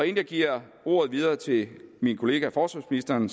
jeg giver ordet videre til min kollega forsvarsministeren